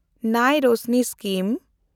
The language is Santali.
ᱱᱟᱭ ᱨᱚᱥᱱᱤ ᱥᱠᱤᱢ